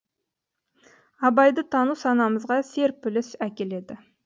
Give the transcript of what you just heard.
абайды тану санамызға серпіліс әкеледі